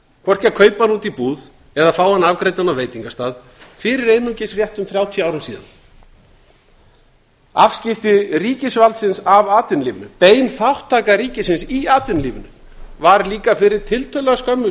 hvorki að kaupa hann úti í búð eða fá hann afgreiddan á veitingastað fyrir einungis réttum þrjátíu árum síðan afskipti ríkisvaldsins af atvinnulífinu bein þátttaka ríkisins í atvinnulífinu var líka fyrir tiltölulega skömmu